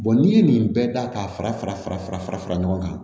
n'i ye nin bɛɛ da k'a fara fara fara fara fara ɲɔgɔn kan